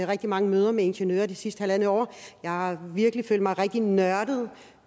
rigtig mange møder med ingeniører det sidste halvandet år jeg har virkelig følt mig rigtig nørdet